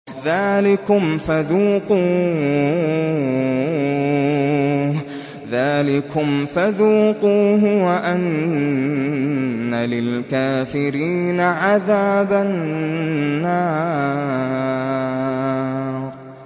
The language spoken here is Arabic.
ذَٰلِكُمْ فَذُوقُوهُ وَأَنَّ لِلْكَافِرِينَ عَذَابَ النَّارِ